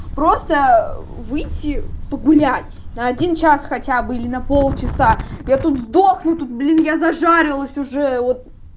просто выйти погулять на один час хотя бы или на полчаса я тут сдохну тут блин я зажарилась уже вот